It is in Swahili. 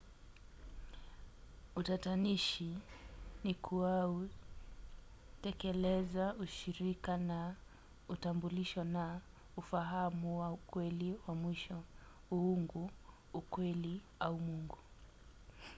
utatanishi ni kuau tekeleza ushirika na utambulisho na ufahamu wa ukweli wa mwisho uungu ukweli au mungu